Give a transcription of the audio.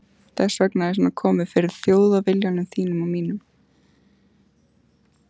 Þess vegna er svona komið fyrir Þjóðviljanum þínum og mínum.